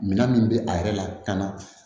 Minan min bɛ a yɛrɛ la ka na